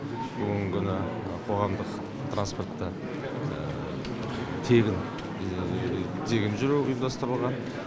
бүгінгі күні қоғамдық транспортта тегін жүру ұйымдастырылған